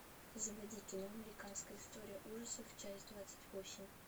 заводи кино американская история ужасов часть двадцать восемь